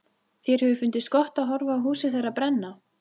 Þér hefur fundist gott að horfa á húsið þeirra brenna?